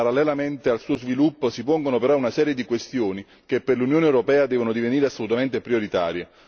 Parallelamente al suo sviluppo, si pongono però una serie di questioni che per l'Unione europea devono divenire assolutamente prioritarie.